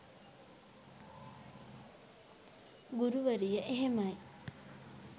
ගුරුවරිය එහෙමයි